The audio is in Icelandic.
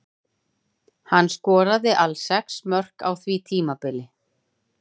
Hann skoraði alls sex mörk á því tímabili.